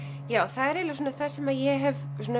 það er eiginlega það sem ég hef